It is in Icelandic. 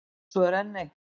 Svo er enn eitt.